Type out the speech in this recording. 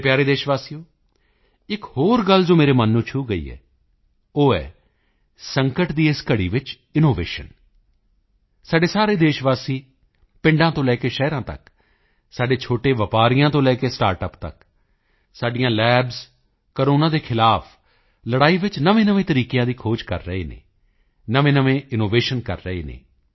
ਮੇਰੇ ਪਿਆਰੇ ਦੇਸ਼ਵਾਸੀਓ ਇੱਕ ਹੋਰ ਗੱਲ ਜੋ ਮੇਰੇ ਮਨ ਨੂੰ ਛੂਹ ਗਈ ਹੈ ਉਹ ਹੈ ਸੰਕਟ ਦੀ ਇਸ ਘੜੀ ਵਿੱਚ ਇਨੋਵੇਸ਼ਨ ਸਾਰੇ ਦੇਸ਼ਵਾਸੀ ਪਿੰਡਾਂ ਤੋਂ ਲੈ ਕੇ ਸ਼ਹਿਰਾਂ ਤੱਕ ਸਾਡੇ ਛੋਟੇ ਵਪਾਰੀਆਂ ਤੋਂ ਲੈ ਕੇ ਸਟਾਰਟਅਪ ਤੱਕ ਸਾਡੀਆਂ ਲੈਬਜ਼ ਕੋਰੋਨਾ ਦੇ ਖ਼ਿਲਾਫ਼ ਲੜਾਈ ਵਿੱਚ ਨਵੇਂਨਵੇਂ ਤਰੀਕਿਆਂ ਦੀ ਖੋਜ ਕਰ ਰਹੀਆਂ ਹਨ ਨਵੇਂਨਵੇਂ ਇਨੋਵੇਸ਼ਨ ਕਰ ਰਹੇ ਹਨ